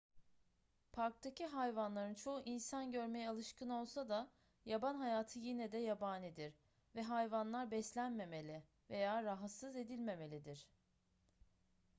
parktaki hayvanların çoğu insan görmeye alışkın olsa da yaban hayatı yine de yabanidir ve hayvanlar beslenmemeli veya rahatsız edilmemelidir